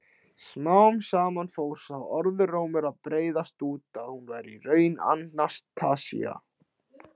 Smám saman fór sá orðrómur að breiðast út að hún væri í raun Anastasía.